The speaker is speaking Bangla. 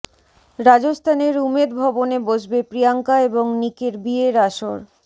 রাজস্থানের উমেদ ভবনে বসবে প্রিয়াঙ্কা এবং নিকের বিয়ের আসর